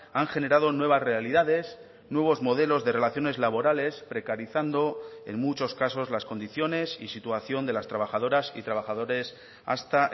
han generado nuevas realidades nuevos modelos de relaciones laborales precarizando en muchos casos las condiciones y situación de las trabajadoras y trabajadores hasta